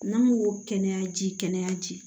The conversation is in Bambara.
N'an ko ko kɛnɛya ji kɛnɛya ji